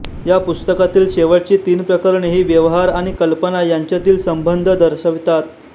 या पुस्तकातील शेवटची तीन प्रकरणे हि व्यवहार आणि कल्पना यांच्यातील संबंध दर्शवितात